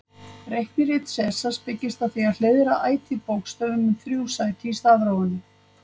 Reiknirit Sesars byggist á því að hliðra ætíð bókstöfum um þrjú sæti í stafrófinu.